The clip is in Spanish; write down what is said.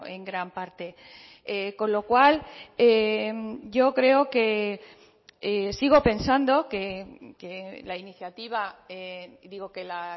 en gran parte con lo cual yo creo que sigo pensando que la iniciativa digo que la